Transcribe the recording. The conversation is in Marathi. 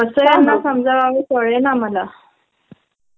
अग, ऑफिस मध्ये आमचची एक वीस जणांची टीम आहे.